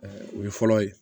o ye fɔlɔ ye